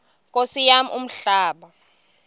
nkosi yam umhlaba